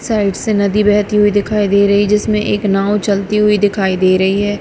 Side से नदी बहती हुई दिखाई दे रही जिसमें एक नाव चलती हुई दिखाई दे रही है।